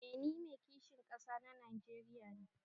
Eh ni Mai kishin kasa na Najeriya ne.